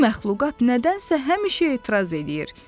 "Bu məxluqat nədənsə həmişə etiraz eləyir.